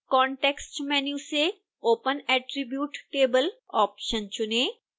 context menu से open attribute table option चुनें